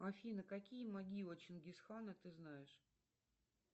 афина какие могилы чингисхана ты знаешь